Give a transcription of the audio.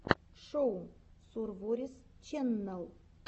шоу сурворис чэннел